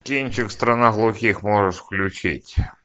кинчик страна глухих можешь включить